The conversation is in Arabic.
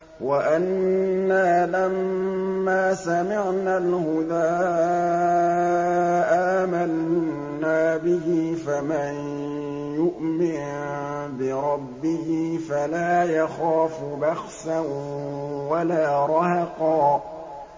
وَأَنَّا لَمَّا سَمِعْنَا الْهُدَىٰ آمَنَّا بِهِ ۖ فَمَن يُؤْمِن بِرَبِّهِ فَلَا يَخَافُ بَخْسًا وَلَا رَهَقًا